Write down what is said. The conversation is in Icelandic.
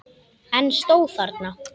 En stóð þarna.